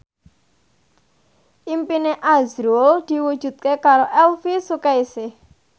impine azrul diwujudke karo Elvi Sukaesih